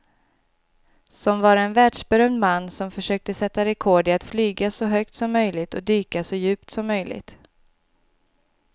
Som var en världsberömd man som försökte sätta rekord i att flyga så högt som möjligt och dyka så djupt som möjligt.